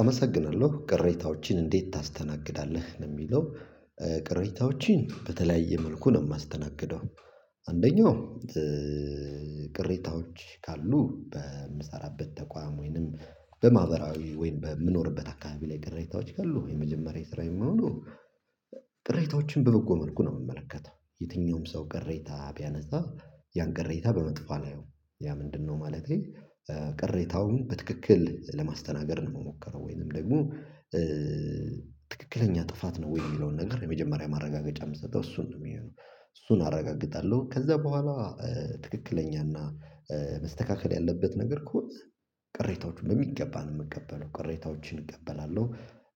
አመሰግናለሁ ቅሬታዎችን እንዴት ታስተናግዳለህ ነው እሚለው? ቅሬታዎችን በተለያየ መልኩ ነው እማስተናግደው። አንደኛው ቅሬታዎች ካሉ በምሰራበት ተቋም ወይም በማህበራዊ ወይም በምኖርበት አካባቢ ላይ ቅሬታዎች ካሉ የመጀመሪያ ስራዬ የሚይሆነው ቅሬታዎችን በበጎ መልኩ ነው እምመለከተው የትኛውም ሰው ቅሬታ ቢያነሳ ያን ቅሬታ በመጥፎ አላየውም። ያ ምንድነው ማለቴ? ቅሬታውን በትክክል ለማስተናገድ ነው እምሞከረው ወይንም ደግሞ ትክክለኛ ጥፋት ነው ወይ የሚለውን ነገር የመጀመሪያ ማረጋገጫ እምሰጠው እሱን ነው እሚሆነው እሱን አረጋግጣለሁ። ከዛ በኋላ ትክክለኛና መስተካከል ያለበት ነገር ከሆነ ቅሬታዎችን በሚገባ ነው እምቀበለው ቅሬታዎችን እቀበላለሁ።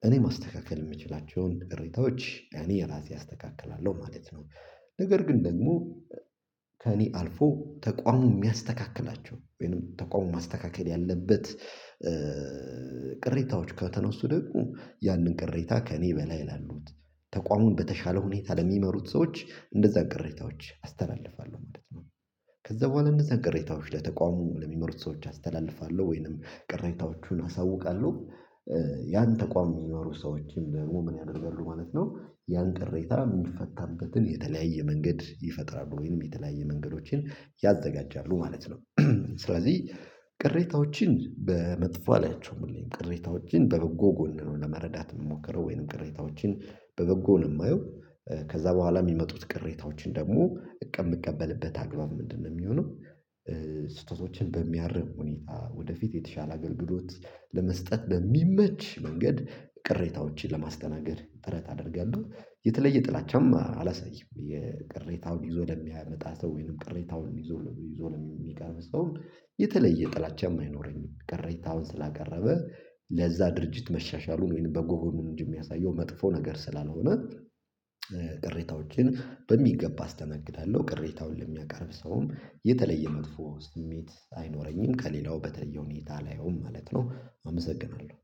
እኔ ማስተካከል እምችላቸውን ቅሬታዎች እኔ እራሴ አስተካክላለሁ ማለት ነው። ነገር ግን ደግሞ ከእኔ አልፎ ተቋሙ እሚያስተካክላቸው ወይንም ተቋሙ ማስተካከል ያለበት ቅሬታዎች ከተነሱ ደግሞ ያንን ቅሬታ ከእኔ በላይ ላሉት ተቋሙን በተሻለ ሁኔታ ለሚመሩት ሰዎች እነዛን ቅሬታዎች አስተላልፋለሁ ማለት ነው። ከዛ በኋላ እነዛን ቅሬታዎች ለተቋሙ ለሚመሩት ሰዎች አስተላልፋለሁ ወይንም ቅሬታዎቹን አሳውቃለሁ። ያን ተቋም እሚመሩት ሰዎች ደግሞ ምን ያደርጋሉ ማለት ነው? ያን ቅሬታ እሚፈታበትን የተለያየ መንገድ ይፈጥራሉ ወይንም የተለያየ መንገዶችን ያዘጋጃሉ ማለት ነው። ስለዚህ ቅሬታዎችን በመጥፎ አላያቸውም ቅሬታዎችን በበጎ ጎን ነው ለመረዳት እምሞክረው ወይንም ቅሬታዎችን በበጎ ነው እማየው። ከዛ በኋላ እሚመጡት ቅሬታዎችን ደግሞ እቅድ እምቀበልበት አግባብ ምንድነው እሚሆነው? ስህተቶችን በሚያርም ሁኔታ ወደፊት የተሻለ አገልግሎት ለመስጠት በሚመች መንገድ ቅሬታዎችን ለማስተናገድ ጥረት አደርጋለሁ። የተለየ ጥላቻም አላሳይም። ቅሬታውን ይዞ ለሚመጣ ሰው ወይንም ቅሬታውን ይዞ ለሚቀርብ ሰው የተለየ ጥላቻም አይኖረኝም ቅሬታውን ስላቀረበ ለዛ ድርጅት መሻሻሉን ወይም በጎ ጎኑን እንጂ እሚያሳየው መጥፎ ጎኑን ስላልሆነ። ቅሬታዎችን በሚገባ አስተናግዳለሁ ቅሬታውን ለሚያቀርብ ሰውም የተለየ መጥፎ ስሜት አይኖረኝም ከሌላው በተለየ ሁኔታ አላየውም ማለት ነው። አመሰግናለሁ